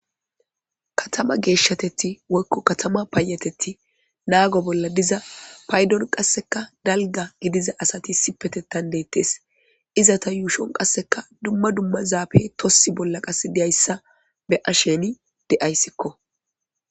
Katama geshshatith woyikko katama payatethi naggon bolla diza payiddon qasekko dalgga gidiza asati issippeteta detess izeta yushshon qasekka duma duma zappeyi tokesi bollan qase dizayisi be'asheni dayisikko.